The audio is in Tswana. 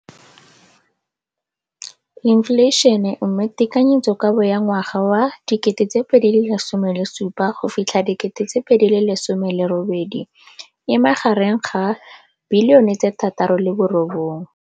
Infleišene, mme tekanyetsokabo ya 2017 go fitlha 18 e magareng ga 6.4 bilione.